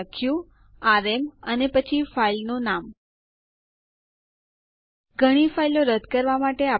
મેં r વિકલ્પ નો ઉપયોગ કર્યો છે